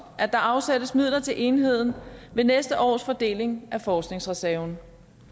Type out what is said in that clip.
at der afsættes midler til enheden ved næste års fordeling af forskningsreserven